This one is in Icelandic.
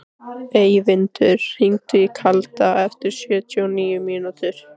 Eyvindur, hringdu í Kalda eftir sjötíu og níu mínútur.